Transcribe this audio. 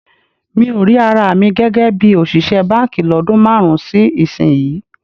Mi ò rí ara mi gẹ́gẹ́ bí òṣìṣẹ́ báǹkì lọ́dún márùn-ún sí ìsinyìí